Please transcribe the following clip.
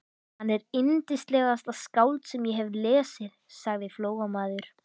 Hann er yndislegasta skáld sem ég hef lesið, sagði Flóamaður.